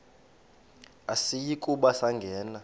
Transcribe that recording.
asiyi kuba sangena